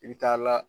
I bi taa la